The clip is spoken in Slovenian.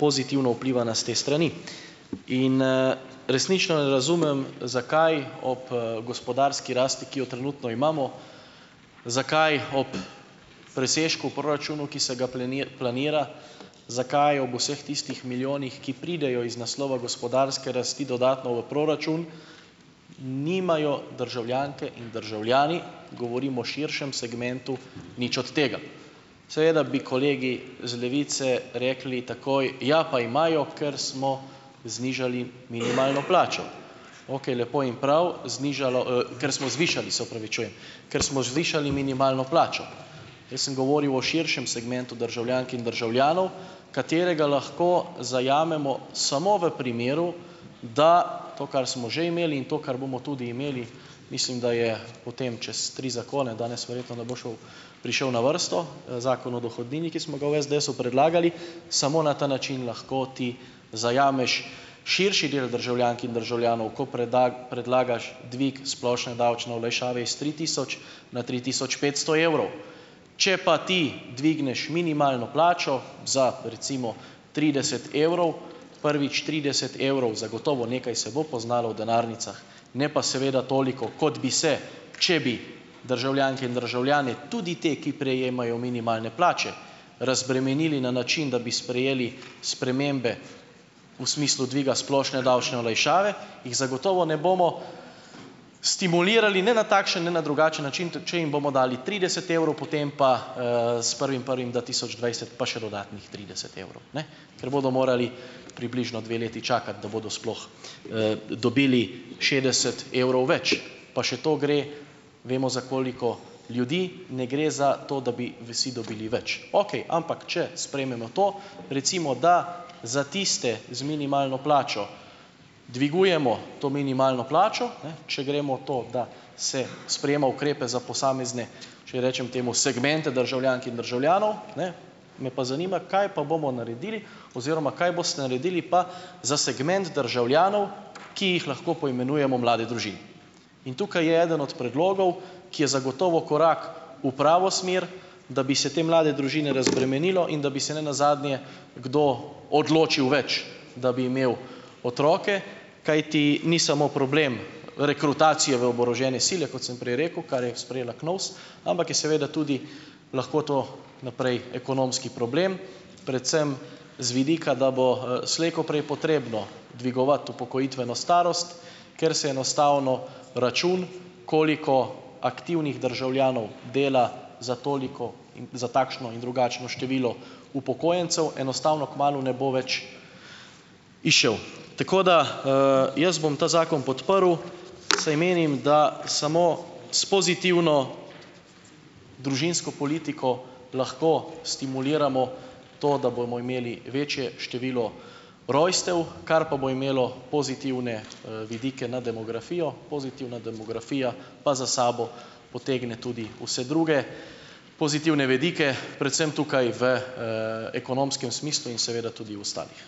pozitivno vplivana s te strani. In, resnično ne razumem, zakaj ob, gospodarski rasti, ki jo trenutno imamo, zakaj ob presežku proračunu, ki se ga planira, zakaj ob vseh tistih milijonih, ki pridejo iz naslova gospodarske rasti dodatno v proračun, nimajo državljanke in državljani, govorim o širšem segmentu, nič od tega. Seveda bi kolegi z Levice rekli takoj: "Ja pa imajo, ker smo znižali minimalno plačo." Ok, lepo in prav, znižalo, ker smo zvišali, se opravičujem, kar smo zvišali minimalno plačo. Jaz sem govoril o širšem segmentu državljank in državljanov, katerega lahko zajamemo samo v primeru, da to, kar smo že imeli, in to, kar bomo tudi imeli, mislim, da je potem čez tri zakone, danes verjetno ne bo šel, prišel na vrsto, zakon o dohodnini, ki smo ga v SDS-u predlagali, samo na ta način lahko ti zajameš širši del državljank in državljanov, ko predlagaš dvig splošne davčne olajšave iz tri tisoč na tri tisoč petsto evrov. Če pa ti dvigneš minimalno plačo za recimo trideset evrov, prvič, trideset evrov zagotovo nekaj se bo poznalo v denarnicah, ne pa seveda toliko, kot bi se, če bi državljanke in državljane, tudi te, ki prejemajo minimalne plače, razbremenili na način, da bi sprejeli spremembe v smislu dviga splošne davčne olajšave, jih zagotovo ne bomo stimulirali, ne na takšen ne na drugačen način, tudi če jim bomo dali trideset evrov, potem pa, s prvim prvim dva tisoč dvajset pa še dodatnih trideset evrov, ne, ker bodo morali približno dve leti čakati, da bodo sploh, dobili šestdeset evrov več, pa še to gre, vemo, za koliko ljudi, ne gre za to, da bi vsi dobili več. Okej, ampak če sprejmemo to, recimo da za tiste z minimalno plačo dvigujemo to minimalno plačo, ne, če gremo to, da se sprejema ukrepe za posamezne, če rečem temu, segmente državljank in državljanov, ne, me pa zanima, kaj pa bomo naredili oziroma kaj boste naredili pa za segment državljanov, ki jih lahko poimenujemo mlade družine. In tukaj je eden od predlogov, ki je zagotovo korak v pravo smer, da bi se te mlade družine razbremenilo in da bi se nenazadnje kdo odločil več, da bi imel otroke, kajti ni samo problem rekrutacije v oborožene sile, kot sem prej rekel, kar je sprejela KNOVS, ampak je seveda tudi lahko to naprej ekonomski problem, predvsem z vidika, da bo, slej ko prej potrebno dvigovati upokojitveno starost, ker se enostavno račun, koliko aktivnih državljanov dela za toliko, za takšno in drugačno število upokojencev, enostavno kmalu ne bo več izšel. Tako da, jaz bom ta zakon podprl, saj menim, da samo s pozitivno družinsko politiko lahko stimuliramo to, da bomo imeli večje število rojstev, kar pa bo imelo pozitivne, vidike na demografijo, pozitivna demografija pa za sabo potegne tudi vse druge pozitivne vidike, predvsem tukaj v, ekonomskem smislu in seveda tudi v ostalih.